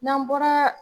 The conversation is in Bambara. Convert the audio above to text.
N'an bɔra